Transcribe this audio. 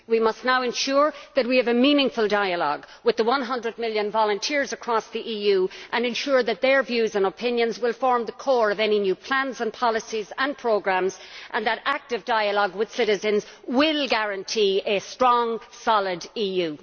We must now ensure that we have a meaningful dialogue with the 100 million volunteers across the EU and ensure that their views and opinions will form the core of any new plans, policies and programmes and that active dialogue with citizens will guarantee a strong, solid EU.